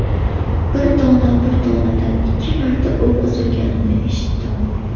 Bir dona, bir donadan ikki marta o‘q uzilganini eshitdim.